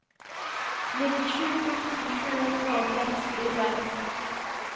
nittisju tusen sju hundre og sekstiseks